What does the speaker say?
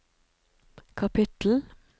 kapittel